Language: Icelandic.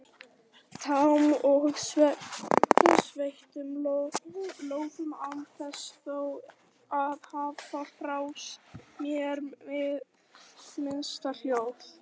tám og sveittum lófum án þess þó að gefa frá mér hið minnsta hljóð.